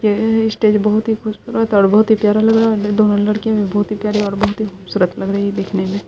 यह स्टेज बहुत ही खूबसूरत और बहुत ही प्यारा लग रहा है दोनों लड़कियाँ भी बहुत ही प्यारी और बहुत हीं खूबसूरत लग रही है देखने में।